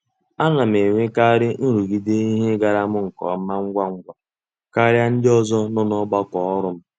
A na m enwekarị nrụgide ihe ịgara m nke ọma ngwa ngwa karịa ndị ọzọ nọ n'ọgbakọ ọrụ m.